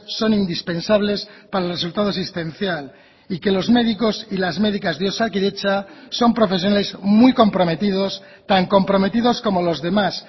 son indispensables para el resultado existencial y que los médicos y las médicas de osakidetza son profesionales muy comprometidos tan comprometidos como los demás